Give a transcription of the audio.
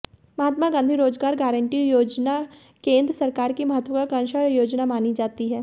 महात्मा गांधी रोजगार गारंटी योजना केंद्र सरकार की महत्वांकाक्षी योजना मानी जाती है